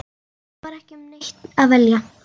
En það var ekki um neitt að velja.